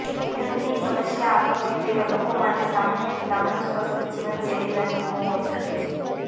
વિલંબની સમસ્યા આવી હોય તેવા લોકો માટે સામાન્ય ભલામણો સ્વસ્થ જીવનશૈલીના નિયમો હોઈ શકે છે